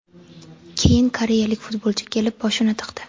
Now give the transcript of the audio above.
Keyin koreyalik futbolchi kelib boshini tiqdi.